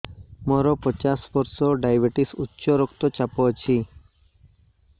ମୋର ପଚାଶ ବର୍ଷ ଡାଏବେଟିସ ଉଚ୍ଚ ରକ୍ତ ଚାପ ଅଛି